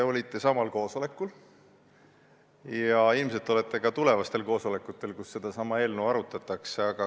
Te olite samal koosolekul, kus seda eelnõu arutati, ja ilmselt olete ka tulevastel koosolekutel, kus seda arutatakse.